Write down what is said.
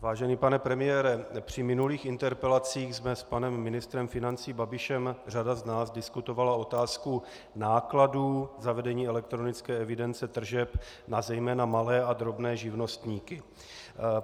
Vážený pane premiére, při minulých interpelacích jsme s panem ministrem financí Babišem řada z nás diskutovala otázku nákladů zavedení elektronické evidence tržeb na zejména malé a drobné živnostníky.